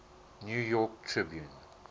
new york tribune